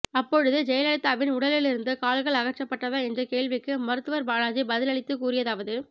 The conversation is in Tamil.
அப்பொழுது ஜெயலலிதாவின் உடலிலிருந்து கால்கள் அகற்றப்பட்டதா என்ற கேள்விக்கு மருத்துவர் பாலாஜி பதில் அளித்து கூறியதாவது